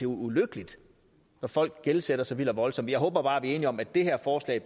ulykkeligt når folk gældsætter sig vildt og voldsomt jeg håber bare at vi enige om at det her forslag